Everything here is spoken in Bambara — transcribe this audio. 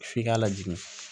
F'i k'a lajigin